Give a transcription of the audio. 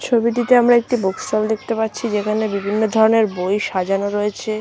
ছবিটিতে আমরা একটি বুক স্টল দেখতে পাচ্ছি যেখানে বিভিন্ন ধরণের বই সাজানো রয়েছে।